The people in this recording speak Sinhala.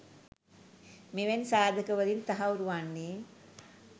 මෙවැනි සාධකවලින් තහවුරු වන්නේ